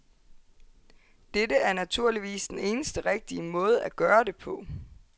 Dette er naturligvis den eneste rigtige måde at gøre det på.